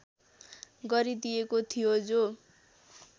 गरिदिएको थियो जो